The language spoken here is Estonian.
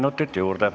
Kolm minutit juurde.